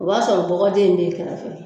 O b'a sɔrɔ bɔgɔden in bɛ i kɛrɛfɛ